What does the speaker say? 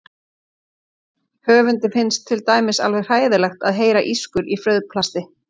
Höfundi finnst til dæmis alveg hræðilegt að heyra ískur í frauðplasti.